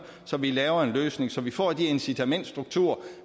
så vi laver en løsning så vi får de incitamentsstrukturer